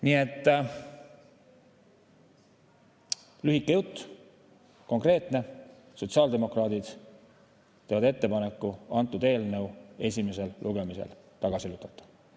Nii et lühike jutt, konkreetne: sotsiaaldemokraadid teevad ettepaneku eelnõu esimesel lugemisel tagasi lükata.